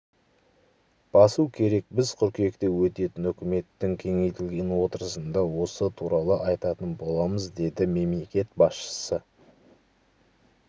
басу керек біз қыркүйекте өтетін үкіметтің кеңейтілген отырысында осы туралы айтатын боламыз деді мемлекет басшысы